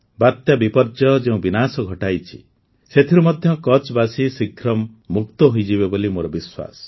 ବାତ୍ୟା ବିପର୍ଯ୍ୟୟ ଯେଉଁ ବିନାଶ ଘଟାଇଛି ସେଥିରୁ ମଧ୍ୟ କଚ୍ଛବାସୀ ଶୀଘ୍ର ମୁକ୍ତ ହୋଇଯିବେ ବୋଲି ମୋର ବିଶ୍ୱାସ